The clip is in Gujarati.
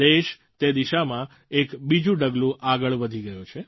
દેશ તે દિશામાં એક બીજું ડગલું આગળ વધી ગયો છે